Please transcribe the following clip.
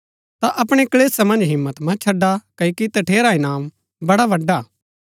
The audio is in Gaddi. ता अपणै क्‍लेशा मन्ज हिम्मत मत छड़ा क्ओकि तठेरा इनाम बड़ा बड्‍डा हा